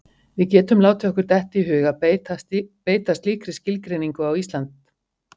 Við getum látið okkur detta í hug að beita slíkri skilgreiningu á Ísland.